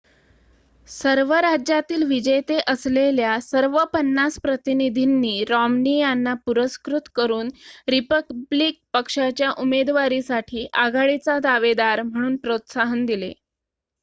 सर्व राज्यातील विजेते असलेल्या सर्व पन्नास प्रतिनिधींनी रॉम्नी यांना पुरस्कृत करून रिपब्लिकन पक्षाच्या उमेदवारीसाठी आघाडीचा दावेदार म्हणून प्रोत्साहन दिले